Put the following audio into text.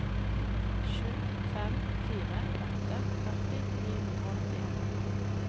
sju fem fire åtte førti ni hundre og åttien